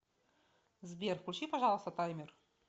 сбер включи пожалуйста таймер